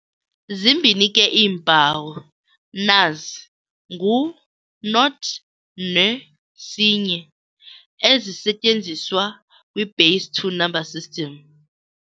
Zimbini ke iimpawu, nazi - ngu-0 ne-1, ezisetyenziswa kwi-base two number system.